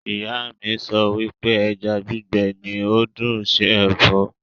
Ìyá mi sọ wípé ẹja gbígbé ní ó dùn ṣe Ẹ̀fọ́